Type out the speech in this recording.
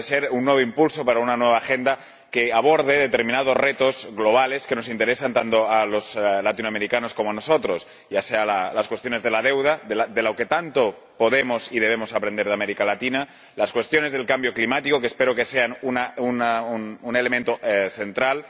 Puede ser un nuevo impulso para una nueva agenda que aborde determinados retos globales que interesan tanto a los latinoamericanos como a nosotros ya sean las cuestiones de la deuda, de lo que tanto podemos y debemos aprender de América Latina, o las cuestiones del cambio climático, que espero sean un elemento central.